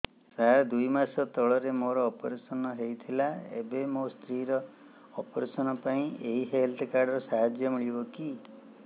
ସାର ଦୁଇ ମାସ ତଳରେ ମୋର ଅପେରସନ ହୈ ଥିଲା ଏବେ ମୋ ସ୍ତ୍ରୀ ର ଅପେରସନ ପାଇଁ ଏହି ହେଲ୍ଥ କାର୍ଡ ର ସାହାଯ୍ୟ ମିଳିବ କି